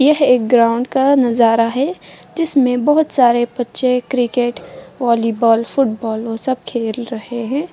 यह एक ग्राउंड का नज़ारा है जिसमें बहुत सारे बच्चे क्रिकेट वॉलीबॉल फुटबॉल वो सब खेल रहे हैं।